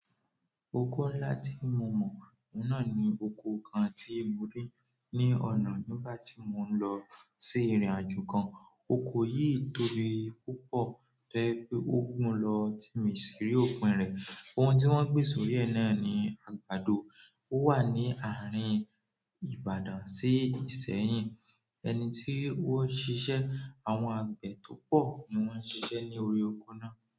Oko ńlá tí mo mọ̀, ọ̀nà ni oko kan tí mo rí ní ọ̀nà nígbà tí mò ń lọ sí ìrìnàjò kan. Oko yìí tobí púpọ̀, to jẹ́ pé ó gùn lọ tí mi sì rí òpin rẹ̀. Ohun tí wọ́n gbin sórí ẹ náà ni àgbàdo. Ó wà ní àárín Ìbàdàn sí Ìsẹ́yìn. Ẹni ti o n sise, àwọn agbe to po ni won n sise ni orí oko náà.